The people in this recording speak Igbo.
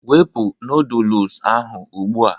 wụpụ noodolus ahụ ugbu a!